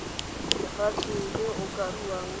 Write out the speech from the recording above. lefatshe le o ka ruang